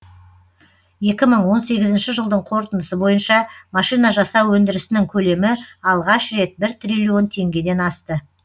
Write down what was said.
екі мың он сегізінші жылдың қорытындысы бойынша машина жасау өндірісінің көлемі алғаш рет бір триллион теңгеден асты